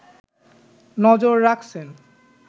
নজর রাখছেন